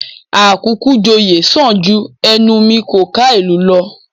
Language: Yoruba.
Àkúkú-joyè sàn ju ẹnu mi kò ká ìlú lọ